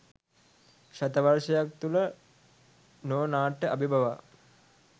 ශතවර්ෂයක් තුළ නෝ නාට්‍ය අභිබවා